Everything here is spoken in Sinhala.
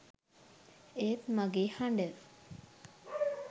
ඒත් මගේ හඬ